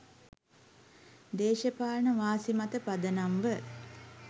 දේශපාලන වාසි මත පදනම්ව